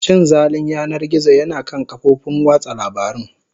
Cin zalin yanar gizo yana kan kafofin watsa labarun.